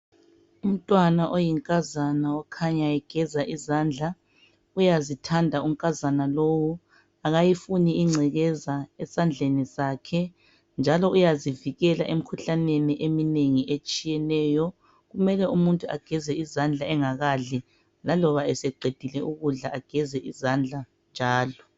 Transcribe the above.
umntwana oyinkazana okhanya egeza izandla uyazithanda unkazana lowu akayifuni ingcekeza esandleni sakhe njalo uyazivikela emikhuhlaneni eminengi etshiyeneyo kumele umuntu ageze izandla engakadli laloba eseqedile ukudla ageze izandla njalo